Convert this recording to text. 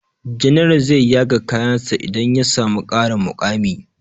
General zai yaga kayan sa idan ya samu ƙarin muƙami